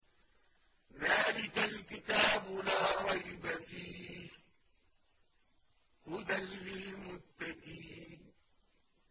ذَٰلِكَ الْكِتَابُ لَا رَيْبَ ۛ فِيهِ ۛ هُدًى لِّلْمُتَّقِينَ